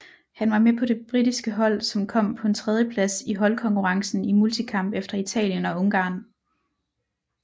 Han var med på det britiske hold som kom på en tredjeplads i holdkonkurrencen i multikamp efter Italien og Ungarn